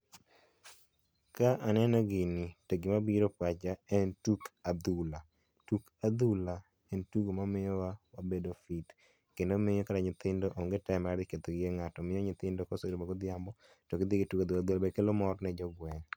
Ka aneno gini to gima biro e pacha en tuk adhula. Tuk adhula en tugo mamiyowa wabedo gi kendo miyo kata nyitthindo onge time mar ketho gige ng'ato miyo nyithind ka oseromo godhiambo to gidhi gitugo adhula, adhula be kelo mor ne jogweng'.